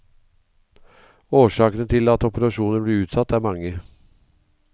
Årsakene til at operasjoner blir utsatt er mange.